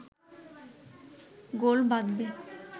গোল বাঁধবে